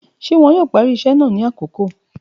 Ṣe wọn yoo pari iṣẹ naa ni akoko?.